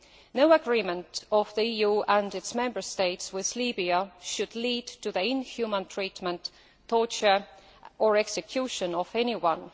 No agreement of the EU and its Member States with Libya should lead to the inhuman treatment, torture or execution of anyone.